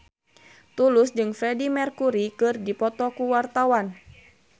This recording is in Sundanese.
Tulus jeung Freedie Mercury keur dipoto ku wartawan